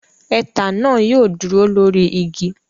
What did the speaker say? Ẹtà náà yóò dúró lórí igi.